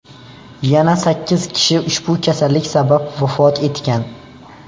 Yana sakkiz kishi ushbu kasallik sabab vafot etgan.